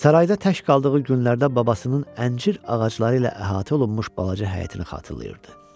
Sarayda tək qaldığı günlərdə babasının əncir ağacları ilə əhatə olunmuş balaca həyətini xatırlayırdı.